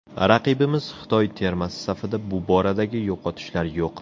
Raqibimiz Xitoy termasi safida bu boradagi yo‘qotishlar yo‘q.